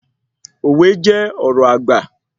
Òwe jẹ́ ọ̀rọ̀ àgbà